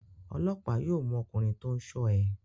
Ọlọ́pàá yóò mú ọkùnrin tó ń ṣọ́ ẹ.